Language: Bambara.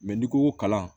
n'i ko ko kalan